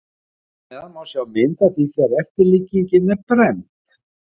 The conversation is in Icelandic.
Hér að neðan má sjá mynd af því þegar eftirlíkingin er brennd.